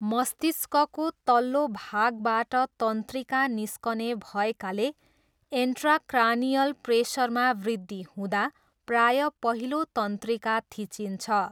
मस्तिष्कको तल्लो भागबाट तन्त्रिका निस्कने भएकाले इन्ट्राक्रानियल प्रेसरमा वृद्धि हुँदा प्रायः पहिलो तन्त्रिका थिचिन्छ।